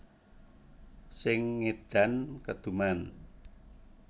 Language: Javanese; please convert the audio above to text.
Sing ngedan keduman